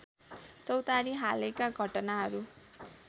चौतारी हालैका घटनाहरू